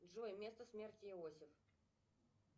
джой место смерти иосиф